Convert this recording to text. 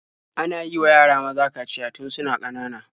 Ana yiwa yara maza kaciya tun suna ƙanana.